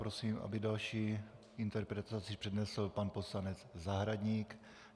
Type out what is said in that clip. Prosím, aby další interpelaci přednesl pan poslanec Zahradník.